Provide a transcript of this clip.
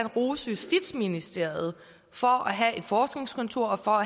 rose justitsministeriet for at have et forskningskontor og